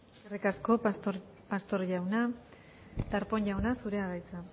eskerrik asko pastor jauna darpón jauna zurea da hitza